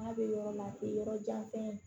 N'a bɛ yɔrɔ la o ye yɔrɔ jan fɛn ye